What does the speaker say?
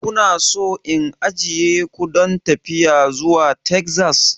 Kuna so in ajiye ku don tafiya zuwa Texas?